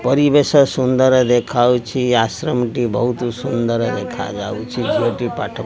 ପରିବେଶ ସୁନ୍ଦର ଦେଖାହଉଛି ଆଶ୍ରମ ଟି ବହୁତ ସୁନ୍ଦର ଦେଖାଯାଉଛି ଝିଅ ଟି ପାଠ --